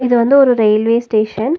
இது வந்து ஒரு ரயில்வே ஸ்டேஷன் .